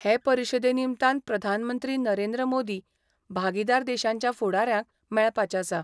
हे परिशदे निमतान प्रधानमंत्री नरेंद्र मोदी भागीदार देशांच्या फुडाऱ्यांक मेळपाचे आसा.